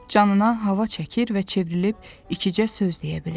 Canına hava çəkir və çevrilib ikicə söz deyə bilir.